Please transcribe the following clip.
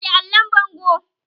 Goge allon bango!